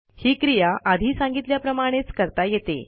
ही क्रिया आधी सांगितल्याप्रमाणेच करता येते